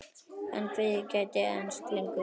En kvefið gæti enst lengur.